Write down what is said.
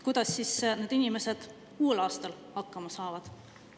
Kuidas need inimesed uuel aastal hakkama saavad?